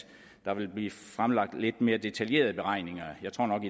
der vil blive fremlagt lidt mere detaljerede beregninger jeg tror nok